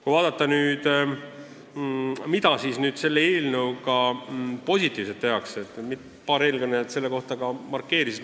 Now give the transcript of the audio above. Kui vaadata, mida selle eelnõuga positiivset tehakse, siis paar eelkõnelejat seda juba markeerisid.